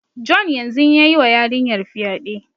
John yanzun ya yi wa yarinyar fyade.